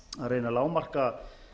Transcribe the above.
reyna að lágmarka